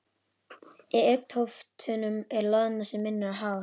Í augntóftunum er loðna sem minnir á hár.